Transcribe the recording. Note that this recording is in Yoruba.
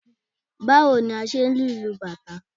Báwo ni a ṣe ń lu ìlù bàtá?